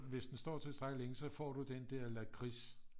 Hvis den står tilstrækkeligt længe så får du den der lakrids